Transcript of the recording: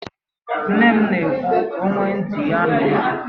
Nne m na ekwu e "onye nwe ntị, ya nụrụ"